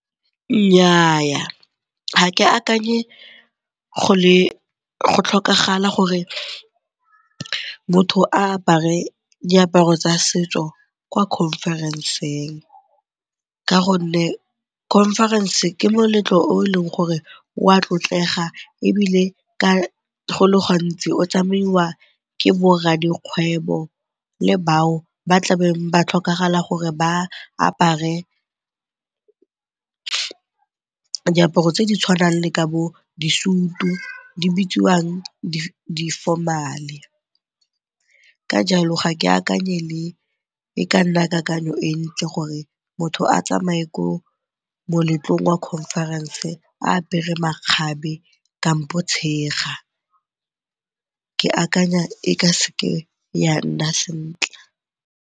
Nnyaa, ga ke akanye go tlhokagala gore motho a apare diaparo tsa setso kwa conference-eng ka gonne conference ke moletlo o e leng gore o a tlotlegang ebile go le gantsi o tsamaiwa ke boradikgwebo le bao ba tlabeng ba tlhokagala gore ba apare diaparo tse di tshwanang le ka bodisutu, di bidiwang, di-formal-e. Ka jalo ga ke akanye e ka nna kakanyo e ntle gore motho a tsamaye ko moletlong wa conference a apere makgabe kampo tshega, ke akanya e ka se ke ya nna sentle.